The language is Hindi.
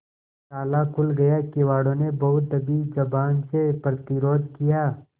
ताला खुल गया किवाड़ो ने बहुत दबी जबान से प्रतिरोध किया